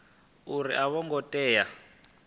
uri a vho ngo tea